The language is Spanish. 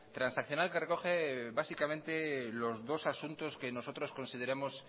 transaccional que recoge básicamente los dos asuntos que nosotros consideremos